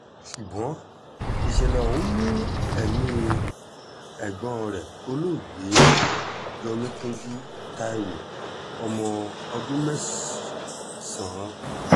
ṣùgbọ́n ìṣẹ̀lẹ̀ ọ̀hún mú ẹ̀mí ẹ̀gbọ́n rẹ̀ olóògbé jomikinjú taiwo ọmọ ọdún mẹ́sàn-án lọ